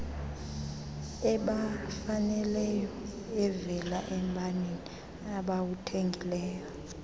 ebafaneleyoevela embaneni abawuthenge